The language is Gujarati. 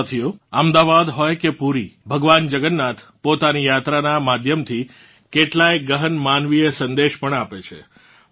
સાથીઓ અમદાવાદ હોય કે પૂરી ભગવાન જગન્નાથ પોતાની યાત્રાનાં માધ્યમથી કેટલાંય ગહન માનવીય સંદેશ પણ આપે છે